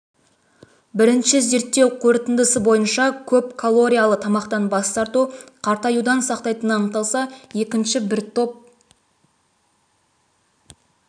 бірінші зерттеу қорытындысы бойынша көп калориялы тамақтан бас тарту қартаюдан сақтайтыны анықталса екінші бір топ